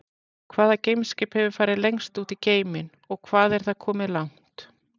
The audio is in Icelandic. Hvaða geimskip hefur farið lengst út í geiminn og hvað er það komið langt?